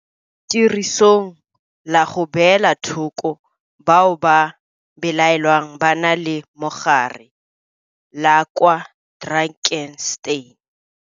Tirisong la go beela thoko bao go belaelwang ba na le mogare la kwa Drakenstein.